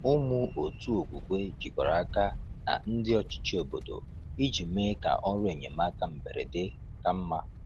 Ụmụ otu okwukwe jikọrọ aka na ndị ọchịchị obodo iji mee ka ọrụ enyemaka mberede ka mma.